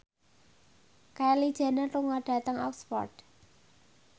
Kylie Jenner lunga dhateng Oxford